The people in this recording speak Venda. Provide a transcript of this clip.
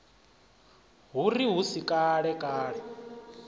hu ri hu si kalekale